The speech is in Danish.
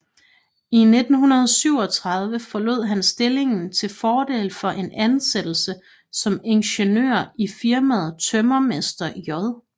I 1937 forlod han stillingen til fordel for en ansættelse som ingeniør i firmaet Tømrermester J